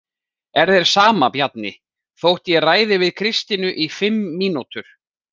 Er þér sama, Bjarni, þótt ég ræði við Kristínu í fimm mínútur?